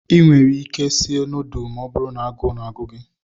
Ị nwere ike sie nọọdụlụ ma ọ bụrụ na agụụ na-agụ gị.